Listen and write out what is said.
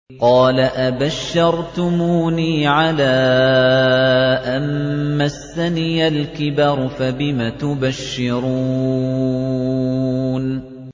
قَالَ أَبَشَّرْتُمُونِي عَلَىٰ أَن مَّسَّنِيَ الْكِبَرُ فَبِمَ تُبَشِّرُونَ